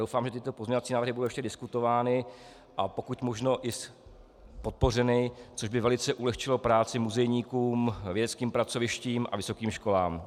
Doufám, že tyto pozměňovací návrhy budou ještě diskutovány a pokud možno i podpořeny, což by velice ulehčilo práci muzejníkům, vědeckým pracovištím a vysokým školám.